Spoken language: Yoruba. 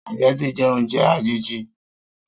Spaghetti jẹ́ oúnjẹ àjèjì